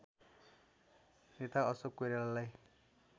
नेता अशोक कोइरालालाई